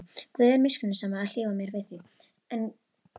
Guð er miskunnsamur að hlífa mér við því.